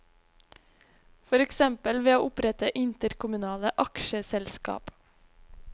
For eksempel ved å opprette interkommunale aksjeselskap.